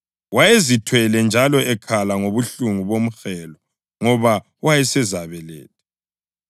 Wayezithwele njalo ekhala ngobuhlungu bomhelo ngoba wayesezabeletha.